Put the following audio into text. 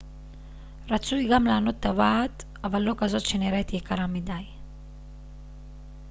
רצוי גם לענוד טבעת אבל לא כזאת שנראית יקרה מדי